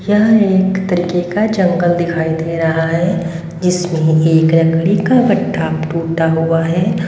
यह एक तरीके का जंगल दिखाई दे रहा है जिसमें एक लकड़ी का गट्टा टूटा हुआ है।